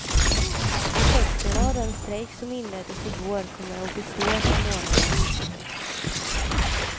Effekterna av den strejk som inleddes i går kommer att bestå ett par månader.